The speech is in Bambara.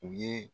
U ye